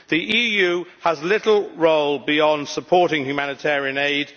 The EU has little role beyond supporting humanitarian aid